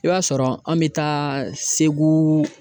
I b'a sɔrɔ an bɛ taa SEGU.